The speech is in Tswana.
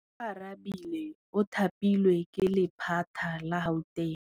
Oarabile o thapilwe ke lephata la Gauteng.